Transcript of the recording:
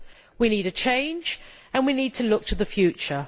We need a change, and we need to look to the future.